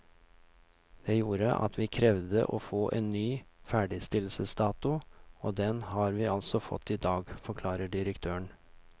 Det gjorde at vi krevde å få en ny ferdigstillelsesdato, og den har vi altså fått i dag, forklarer direktøren.